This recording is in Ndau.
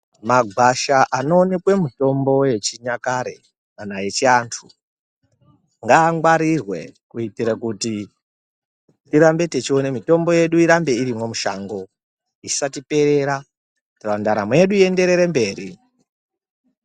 Magwasha anookwe mitombo yechinyakare kana yechiantu ngaangwarirwe kuitira kuti tirambe techiona mitombo yedu irambe irimwo mushango isatiperera kuitira ndaramo yedu iyenderere mberi.